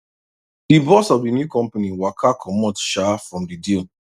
the boss of the new company waka comot um from the deal